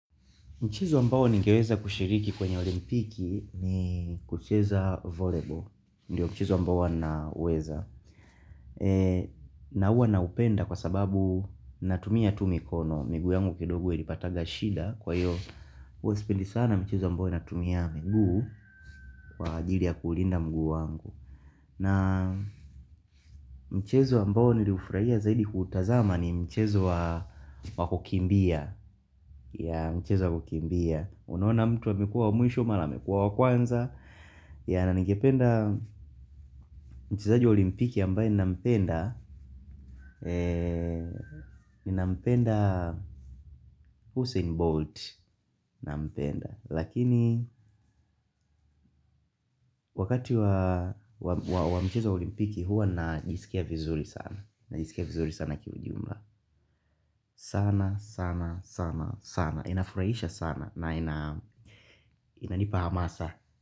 Muchezo ambao ningeeza kushiriki kwenye olimpiki ni kucheza wa volleyball. Ndio mchezo ambao huwa naweza. Na huwa naupenda kwa sababu natumia tu mikono. Miguu yangu kidogo ilipatanga shida kwa hiyo huwa sipendi sana mchezo ambao natumia miguu kwa ajili ya kuulinda mguu wangu. Na mchezo ambao niliufrahia zaidi kuutazama ni mchezo wa kukimbia. Ya mchezo wa kukimbia. Unaona mtu amekuwa wa mwisho mara amekuwa wa kwanza. Ya na ningependa mchezaji wa olimpiki ambaye ninampenda Ninampenda Hussein Bolt. Lakini wakati wa mchezo wa olimpiki huwa najisikia vizuri sana. Najisikia vizuri sana kiujumla. Sana sana sana sana. Inafurahisha sana na inanipa hamasa.